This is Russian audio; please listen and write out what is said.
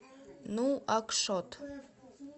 нуакшот